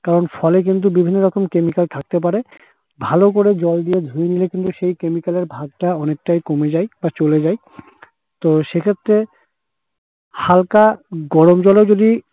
কারণ ফলে কিন্তু বিভিন্ন রকম chemical থাকতে পারে। ভালো করে জল দিয়ে ধুয়ে নিলে কিন্তু সেই chemical এর ভাগটা অনেকটাই কমে যায় বা চলে যায়। তো সেক্ষেত্রে হালকা গরম জলেও যদি